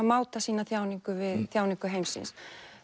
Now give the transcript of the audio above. máta sína þjáningu við þjáningu heimsins